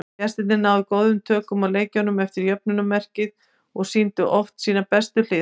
Gestirnir náðu góðum tökum á leiknum eftir jöfnunarmarkið og sýndu oft sínar bestu hliðar.